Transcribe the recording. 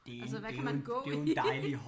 Altså hvad kan man gå